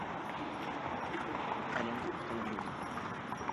аренда автомобилей